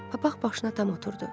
Papaq başına tam oturdu.